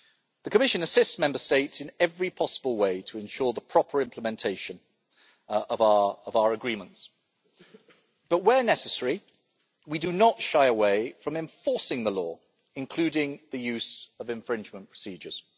The Commission assists Member States in every possible way to ensure the proper implementation of our agreements, but where necessary we do not shy away from enforcing the law, including the use of infringement procedures.